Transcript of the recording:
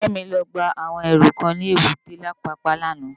Kemi lò gbá áwòn èrú kán ni ébùté Apapa làná